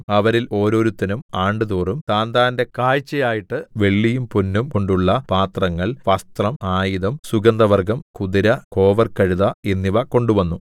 അവരിൽ ഓരോരുത്തനും ആണ്ടുതോറും താന്താന്റെ കാഴ്ചയായിട്ട് വെള്ളിയും പൊന്നും കൊണ്ടുള്ള പാത്രങ്ങൾ വസ്ത്രം ആയുധം സുഗന്ധവർഗ്ഗം കുതിര കോവർകഴുത എന്നിവ കൊണ്ടുവന്നു